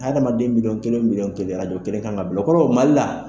Hadamaden miliyon kelen miliyon kelen kelen kan ka bila o kɔrɔ Mali la